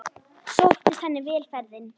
Sóttist henni vel ferðin.